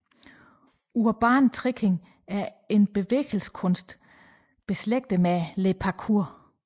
Urban Tricking er en bevægelseskunst nært beslægtet med Le Parkour